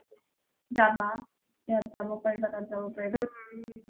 যাবা ইয়াত যাব পাৰিবা তাত যাব পাৰিবা ওম ওম